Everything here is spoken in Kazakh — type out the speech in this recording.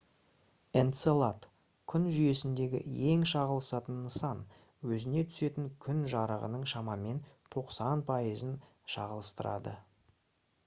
энцелад күн жүйесіндегі ең шағылысатын нысан өзіне түсетін күн жарығының шамамен 90 пайызын шағылыстырады